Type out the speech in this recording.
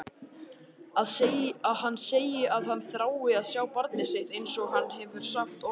Að hann segi að hann þrái að sjá barnið sitt einsog hann hefur oft sagt.